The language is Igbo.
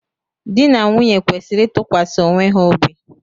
Di na nwunye kwesịrị ịtụkwasị onwe ha obi.